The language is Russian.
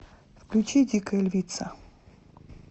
включи дикая львица